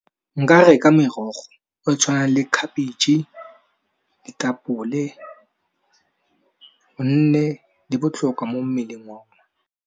Nka reka merogo e tshwanang le khabetšhe, ditapole gonne di botlhokwa mo mmeleng